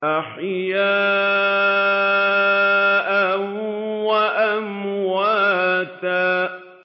أَحْيَاءً وَأَمْوَاتًا